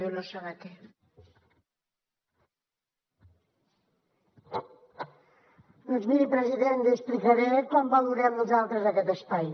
doncs miri president li explicaré com valorem nosaltres aquest espai